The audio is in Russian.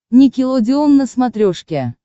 никелодеон на смотрешке